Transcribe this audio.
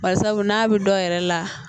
Bari sabu n'a bɛ dɔw yɛrɛ la